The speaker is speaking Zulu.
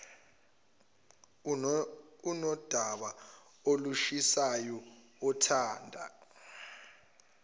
unodaba olushisayo othanda